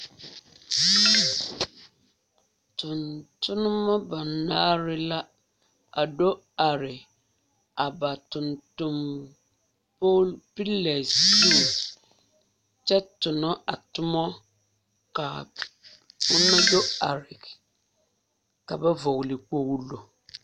Tontonneba banaare la a do are ba tontone polo piila zu kyɛ tona a tomo ka ona do are ka ba vɔgle kpoglo.